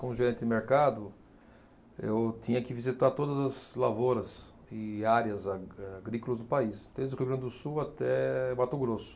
Como gerente de mercado, eu tinha que visitar todas as lavouras e áreas a agrícolas do país, desde o Rio Grande do Sul até Mato Grosso.